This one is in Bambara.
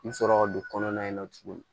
I bi sɔrɔ ka don kɔnɔna in na tuguni